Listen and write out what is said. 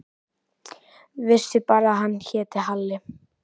Vissi bara að hann hét Halli.